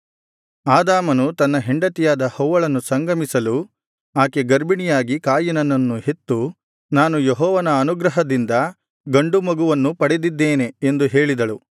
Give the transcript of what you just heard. ಆದಾಮನು ತನ್ನ ಹೆಂಡತಿಯಾದ ಹವ್ವಳನ್ನು ಸಂಗಮಿಸಲು ಆಕೆ ಗರ್ಭಿಣಿಯಾಗಿ ಕಾಯಿನನನ್ನು ಹೆತ್ತು ನಾನು ಯೆಹೋವನ ಅನುಗ್ರಹದಿಂದ ಗಂಡು ಮಗುವನ್ನು ಪಡೆದಿದ್ದೇನೆ ಎಂದು ಹೇಳಿದಳು